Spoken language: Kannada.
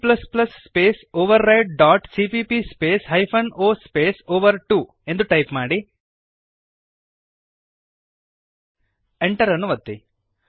g space override dot CPP space hyphen o space ಓವರ್2 ಎಂದು ಟೈಪ್ ಮಾಡಿರಿ Enter ಅನ್ನು ಒತ್ತಿರಿ